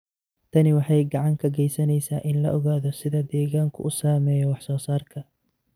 Tani waxay gacan ka geysaneysaa in la ogaado sida deegaanku u saameeyo wax soo saarka.